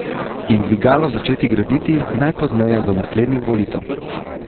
In dvigalo začeti graditi najpozneje do naslednjih volitev.